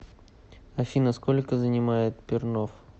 афина сколько занимает пернов